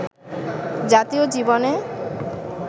জাতীয় জীবনে